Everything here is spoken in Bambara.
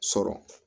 Sɔrɔ